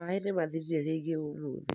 Maĩ nĩ maathirire rĩngĩ ũmũthĩ